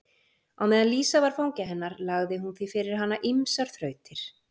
Á meðan Lísa var fangi hennar lagði hún því fyrir hana ýmsar þrautir.